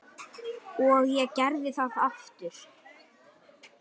Og ég gerði það aftur.